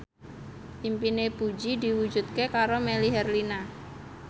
impine Puji diwujudke karo Melly Herlina